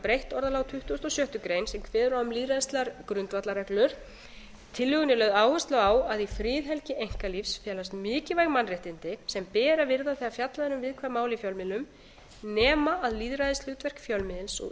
breytt orðalag á tuttugustu og sjöttu grein sem kveður á um lýðræðislegar grundvallarreglur í tillögunni er lögð áhersla á að í friðhelgi einkalífs felast mikilvæg mannréttindi sem ber að virða þegar fjallað er um viðkvæm mál í fjölmiðlum nema lýðræðishlutverk fjölmiðils og